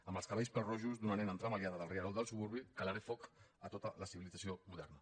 amb els cabells pèl rojos d’una nena entremaliada del rierol del suburbi calaré foc a tota la civilització moderna